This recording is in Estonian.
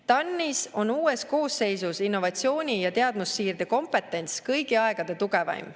TAN-is on uues koosseisus innovatsiooni ja teadmussiirde kompetents kõigi aegade tugevaim.